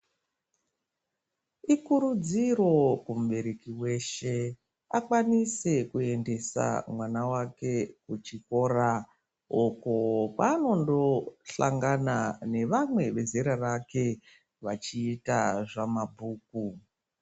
Ikuridziro kumubereki veshe akwanise kuendesa mwana vake kuchikora. Uko kwanondohlangana nevamwe vezera rake vachita zvamabhuku.